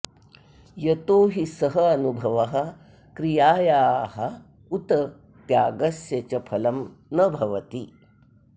यतो हि सः अनुभवः क्रियायाः उत त्यागस्य च फलं न भवति